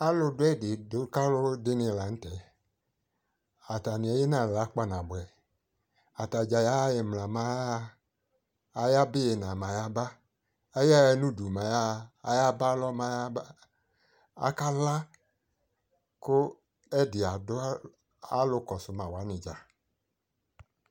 alo do ɛdi do kalo dini lantɛ, atani eyi nala kpanaboɛ atadza yaha imla mɛ aya ha, ayaba ina mɛ aya ba, aya ha no idu mɛ aya ha, aya ba alɔ mɛ aya ba aka la ko ɛdi ado alo kɔso ma wani dza